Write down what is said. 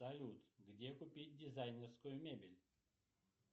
салют где купить дизайнерскую мебель